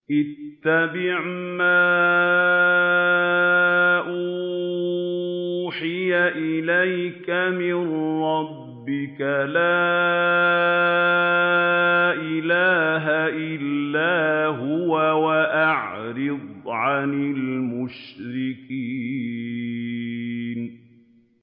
اتَّبِعْ مَا أُوحِيَ إِلَيْكَ مِن رَّبِّكَ ۖ لَا إِلَٰهَ إِلَّا هُوَ ۖ وَأَعْرِضْ عَنِ الْمُشْرِكِينَ